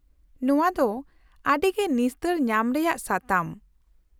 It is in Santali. - ᱱᱚᱶᱟ ᱫᱚ ᱟᱹᱰᱤ ᱜᱮ ᱱᱤᱥᱛᱟᱹ ᱧᱟᱢ ᱨᱮᱭᱟᱜ ᱥᱟᱛᱟᱢ ᱾